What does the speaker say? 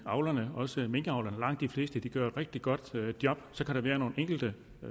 avlerne også minkavlerne langt de fleste gør et rigtig godt job så kan der være nogle enkelte